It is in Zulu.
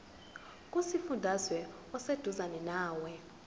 kusifundazwe oseduzane nawe